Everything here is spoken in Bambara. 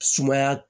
Sumaya